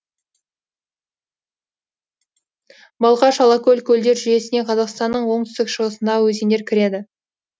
балқаш алакөл көлдер жүйесіне қазақстанның оңтүстік шығысындағы өзендер кіреді